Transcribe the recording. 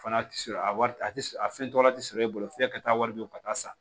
Fana ti sɔrɔ a wari a ti a fɛn dɔ la ti sɔrɔ e bolo f'i ka taa wari don ka taa san